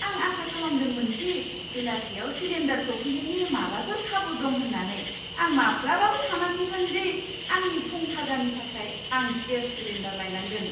आं आसा खालामदोंमोन दि बेलासियाव सिलिन्डार सौफैनायनि माबाफोर खाबु दं होन्नानै। आं माब्लाबाबो सानाखैमोन दि आंनि फुं खाजानि थाखाय आं गेस सिलिन्डार लायनांगोन!